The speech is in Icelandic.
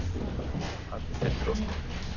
Hann er þrjóskur.